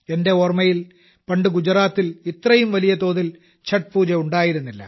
എന്റെ ഓർമ്മയിൽ പണ്ട് ഗുജറാത്തിൽ ഇത്രയും വലിയതോതിൽ ഛഠ് പൂജ ഉണ്ടായിരുന്നില്ല